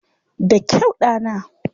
Da kyau, ɗana!